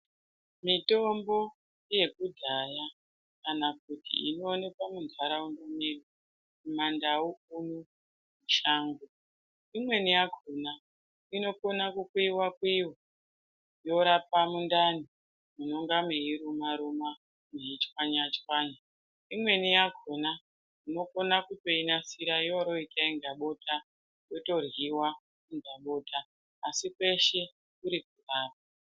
Mitombo yekudhaya kana kuti inoonekwa muntaraunda medu mumantau nemumashango. Imweni yakona inogona kukuyiwa kuyiwa yorapa mundani munonga meyiruma ruma, muchishwanya shwanya. Imweni yakona unogona kutoinasira yotoita bota yotodyiwa iri mubota, asi kweshe kuri kurapa vantu.